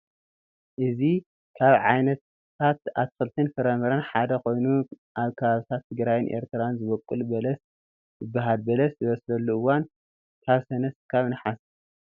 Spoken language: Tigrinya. እዚ ካብ ዓይነታት ኣትክልትን ፍራምረን ሓደ ኮይኑ ኣብ ከባብታ ትግራይን ኤርትራን ዝበቁል በለስ ይባሃል፡፡ በለስ ዝበስለሉ እዋን ካብ ሰነ ክሳብ ናሓሰ እዩ፡፡